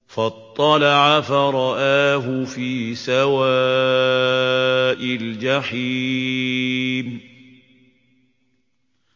فَاطَّلَعَ فَرَآهُ فِي سَوَاءِ الْجَحِيمِ